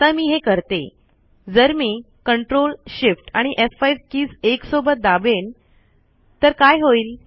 आता मी हे करते जर मी ctrlshiftf5 कीज एकसोबत दाबेन तर काय होईल